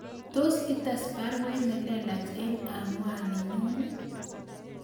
Tos ites baruet nelelach en anwaninyun